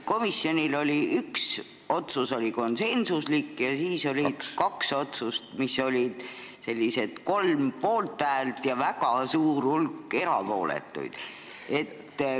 Komisjon tegi ühe konsensusliku otsuse ja kaks otsust said kolm poolthäält ja väga suure hulga erapooletuid.